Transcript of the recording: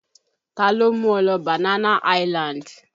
Taló mú ọ lọ Banana island?